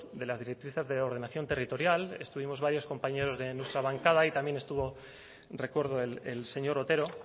de las directrices de ordenación territorial estuvimos varios compañeros de nuestra bancada y también estuvo recuerdo el señor otero